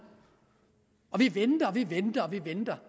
vi venter og vi venter og vi venter